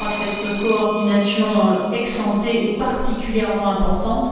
Je crois que cette coordination ex ante est particulièrement importante.